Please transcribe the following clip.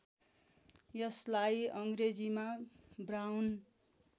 यसलाई अङ्ग्रेजीमा ब्राउन